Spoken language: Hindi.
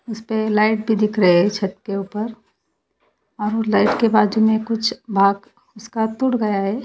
इस पे लाइट भी दिख रहे हैं छत के ऊपर और लाइट के बाजू में कुछ भाग उसका टूट गया है।